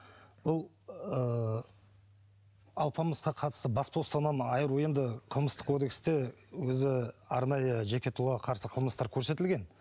бұл ыыы алпамысқа қатысты бас бостандығынан айыру енді қылмыстық кодексте өзі арнайы жеке тұлғаға қарсы қылмыстар көрсетілген